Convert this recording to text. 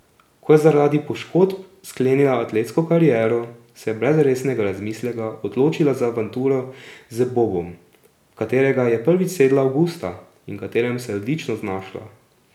Ko je zaradi poškodb sklenila atletsko kariero, se je brez resnega razmisleka odločila za avanturo z bobom, v katerega je prvič sedla avgusta in v katerem se je odlično znašla.